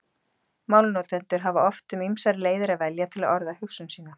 Málnotendur hafa oft um ýmsar leiðir að velja til að orða hugsun sína.